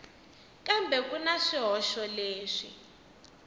kambe ku na swihoxo leswi